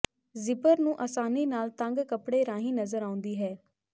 zipper ਨੂੰ ਆਸਾਨੀ ਨਾਲ ਤੰਗ ਕੱਪੜੇ ਰਾਹੀਂ ਨਜ਼ਰ ਆਉਂਦੀ ਹੈ